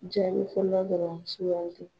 Jaabi fɔlɔ dɔrɔn sukandi.